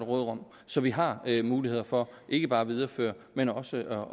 råderum så vi har muligheder for ikke bare at videreføre men også